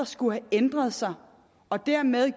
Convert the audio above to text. skulle have ændret sig og dermed